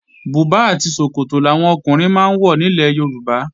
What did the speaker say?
Bùbá àti ṣòkòtò làwọn ọkùnrin máa ń wọ nílẹ̀ Yorùbá